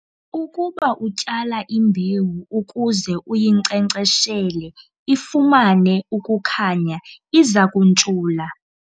ukuba utyala imbewu ukuze uyinkcenkceshele ifumane ukukhanya, iza kuntshula